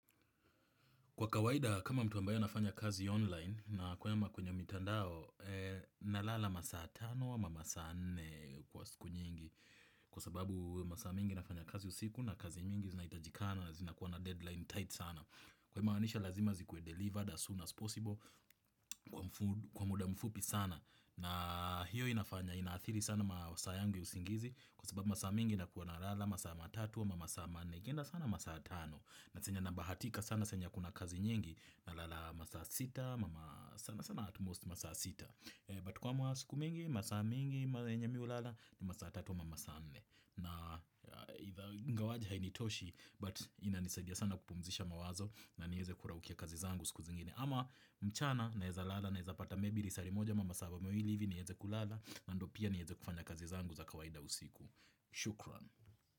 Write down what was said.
Kwa kawaida kama mtu ambaye anafanya kazi online nakwama kwenye mitandao na lala masaa 5 ama masaa 4 kwa siku nyingi kwa sababu masaa mengi nafanya kazi usiku na kazi mingi zinaitajikana na zinakuwa na deadline tight sana. Kumaanisha lazima zikuwe delivered as soon as possible kwa muda mfupi sana na hiyo inafanya inathiri sana masaa yangu ya usingizi kwa sababu masaa mingi nakuwa na lala masaa 3 ama masaa 4. Ikienda sana masaa tano, na saa yenye nabahatika sana saa yenye hakuna kazi nyingi, na lala masaa sita, but kwa masiku mingi masaa mingi, yenye mimi hulala, ni masaa tatu ama masaa nne ingawaje hainitoshi but inanisaidia sana kupumzisha mawazo na niweze kuraukia kazi zangu siku zingine ama mchana naweza lala naweza pata lisaa limoja ama masaa mawili hivi niweze kulala na ndio pia niweze kufanya kazi zangu za kawaida usiku. Shukran.